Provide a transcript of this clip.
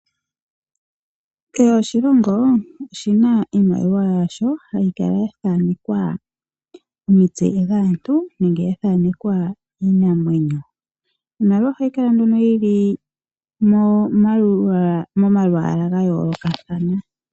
Kehe oshilongo oshina iimaliwa yasho, hayi kala ya thaanekwa omitse dhaantu, nenge ya thaanekwa iinamwenyo. Iimaliwa ohayi kala nduno yili momalwaala gayoolokathana.